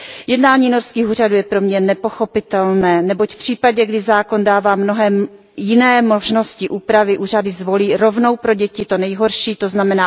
Jednání norských úřadů je pro mě nepochopitelné, neboť v případě, kdy zákon dává mnohem jiné možnosti úpravy, úřady zvolí rovnou pro děti to nejhorší, tzn.